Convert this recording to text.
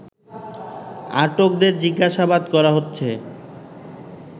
আটকদের জিজ্ঞাসাবাদ করা হচ্ছে